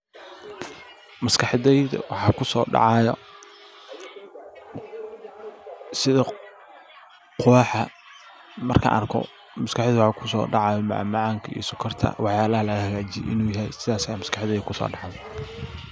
Maskaxdayda waxaa kusodacaya sida quwaxa markan arko maskaxdayda waxaa kusodacayo macmacaanka iyo sokorta waxyaalaha lagahagajiyo inu yahay sidas aa maskaxdayda kusodacayo.